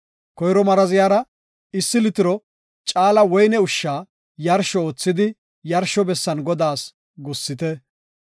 Koyro maraziyara issi litiro caala woyne ushsha yarsho oothidi yarsho bessan Godaas gussite.